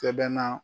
Sɛbɛn na